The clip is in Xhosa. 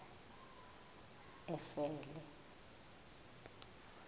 efele